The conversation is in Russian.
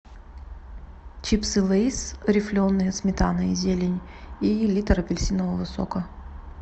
чипсы лейс рифленые сметана и зелень и литр апельсинового сока